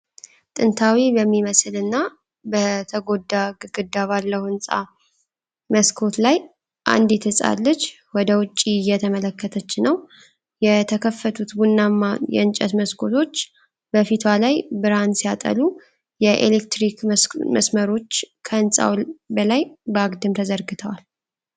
ጥንታዊ በሚመስልና በተጎዳ ግድግዳ ባለው ህንፃ መስኮት ላይ አንዲት ሕፃን ልጅ ወደ ውጭ እየተመለከተች ነው። የተከፈቱት ቡናማ የእንጨት መስኮቶች በፊቷ ላይ ብርሃን ሲያጠሉ፣ የኤሌክትሪክ መስመሮች ከህንፃው በላይ በአግድም ተዘርግተዋል።